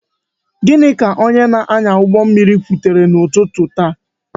Gịnị ka onye na-anya ụgbọ mmiri kwuru n'ụtụtụ taa?